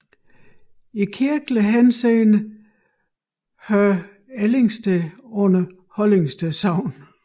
I kirkelig henseende hører Ellingsted under Hollingsted Sogn